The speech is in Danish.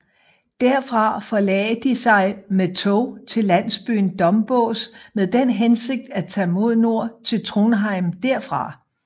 Derfra forlagde de sig med tog til landsbyen Dombås med den hensigt at tage mod nord til Trondheim derfra